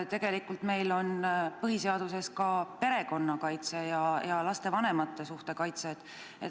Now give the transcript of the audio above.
Tegelikult on põhiseaduses kirjas ka perekonna kaitse ning laste ja vanemate suhte kaitse.